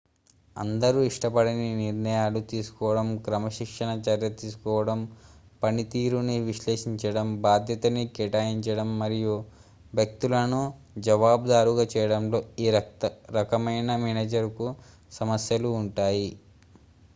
అందరూ ఇష్టపడని నిర్ణయాలు తీసుకోవడం క్రమశిక్షణా చర్య తీసుకోవడం పనితీరుని విశ్లేషించడం బాధ్యతను కేటాయించడం మరియు వ్యక్తులను జవాబుదారుగా చేయడంలో ఈ రకమైన మేనేజర్ కు సమస్యలు ఉంటాయి